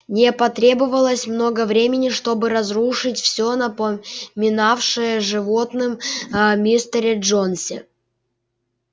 не потребовалось много времени чтобы разрушить все напоминавшее животным о мистере джонсе